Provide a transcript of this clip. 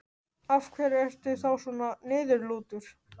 Af hverju ertu þá svona niðurlútur?